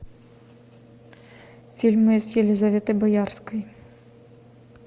фильмы с елизаветой боярской